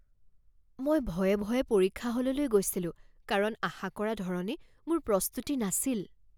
মই ভয়ে ভয়ে পৰীক্ষা হললৈ গৈছিলোঁ কাৰণ আশা কৰা ধৰণে মোৰ প্ৰস্তুতি নাছিল।